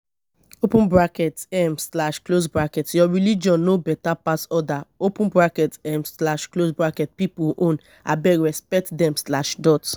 open bracket um slash close bracket your religion no beta pass other open bracket um slash close bracket pipu own abeg respect dem slash dot